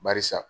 Barisa